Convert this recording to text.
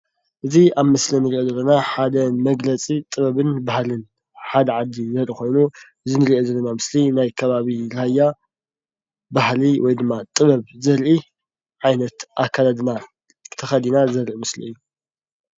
እዚ ኣብ ምስሊ እንሪኦ ዘለና ሓደ መግለፂ ጥበብን ባህሊን ሓደ ዓዲ ዘርኢ ኾይኑ እዚ እንሪኦ ዘለና ምስሊ ናይ ከባቢ ራያ ባህሊ ወይ ድማ ጥበብ ዘርኢ ዓይነት ኣከዳድና ተኸዲና ዘርኢ ምስሊ እዩ።